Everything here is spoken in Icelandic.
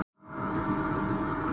Hann er loðinn á öxlunum.